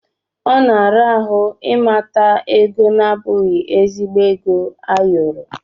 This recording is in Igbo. Ọ na-ara ahụ ịmata ego na-abụghị ezigbo ego ayọrọ.